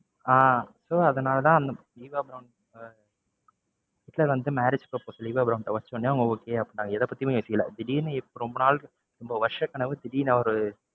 ஆஹ் so அதுனாலதான் அந்த Eva Braun அஹ் ஹிட்லர் வந்து marriage proposal ஈவா பிரௌன்ட்ட வச்ச உடனே அவங்க okay அப்படின்னுட்டாங்க. எதை பத்தியும் யோசிக்கல திடீருன்னு ரொம்ப நாள், ரொம்ப வருஷக்கனவு திடீர்ன்னு ஒரு